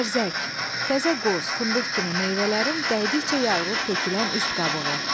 Qərzək, təzə qoz, fındıq kimi meyvələrin dəydikcə yarılıb tökülən üst qabığı.